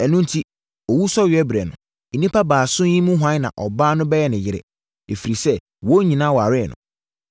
Ɛno enti, owusɔreberɛ no, nnipa baason yi mu hwan na ɔbaa no bɛyɛ ne yere? Ɛfiri sɛ wɔn nyinaa waree no!’ ”